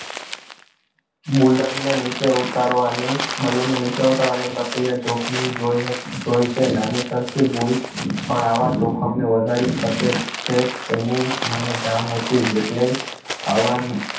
balloon ને નીચે ઉતારવા ની balloon નીચે ઉતારવા ની પ્રક્રિયા જોખમી જોઈ જોઈ છે. નાની સરખી ભૂલ પણ આવા જોખમને વધારી શકે છે એની મને જાણ હતી જ એટલે આવા જ